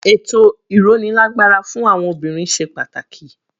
Ètò ìrónilágbára fún àwọn obìnrin ṣe pàtàkì.